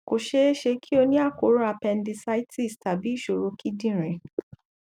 kò ṣeé ṣe kí o ní àkóràn appendicitis tàbí ìṣòro kidinrin